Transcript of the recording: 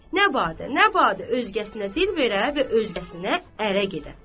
nə badə, nə badə özgəsinə dil verə və özgəsinə ərə gedə.